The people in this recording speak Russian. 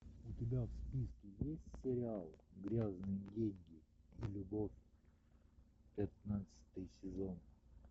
у тебя в списке есть сериал грязные деньги и любовь пятнадцатый сезон